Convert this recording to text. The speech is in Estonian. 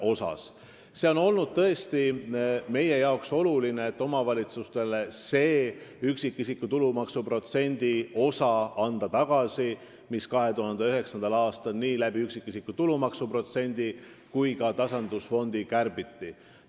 Meie jaoks on olnud oluline anda omavalitsustele tagasi see tulumaksu osa, mida kärbiti 2009. aastal nii üksikisiku tulumaksu protsendi kui ka tasandusfondi kaudu.